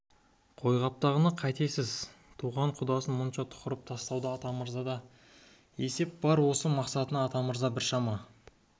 қойқаптағыны қозғап қайтесіз туған құдасын мұнша тұқыртып тастауда атамырзада да есеп бар осы мақсатына атамырза біршама